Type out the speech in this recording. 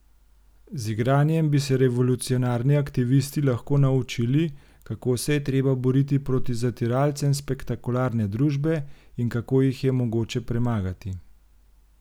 Z igranjem bi se revolucionarni aktivisti lahko naučili, kako se je treba boriti proti zatiralcem spektakularne družbe in kako jih je mogoče premagati.